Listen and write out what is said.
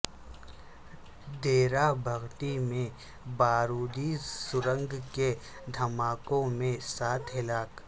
ڈیرہ بگٹی میں بارودی سرنگ کے دھماکوں میں سات ہلاک